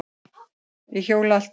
Ég hjóla allt árið.